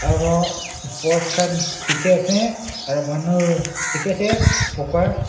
aro post khan dikhiase aru manu dikhi ase buka.